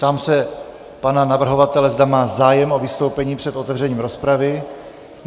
Ptám se pana navrhovatele, zda má zájem o vystoupení před otevřením rozpravy.